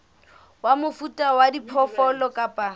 wa mofuta wa diphoofolo kapa